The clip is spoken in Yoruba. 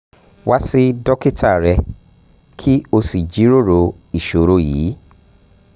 wá sí dókítà rẹ kó o sì jíròrò ìṣòro yìí um